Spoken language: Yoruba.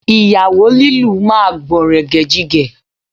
Ìyàwó lílù máa gbọ̀nrẹ̀gẹ̀jigẹ̀